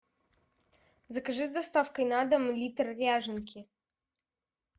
закажи с доставкой на дом литр ряженки